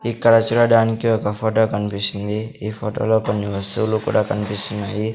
ఇక్కడ చూడడానికి ఒక ఫోటో కనిపిస్తుంది ఈ ఫోటోలో కొన్ని వస్తువులు కూడా కనిపిస్తున్నాయి.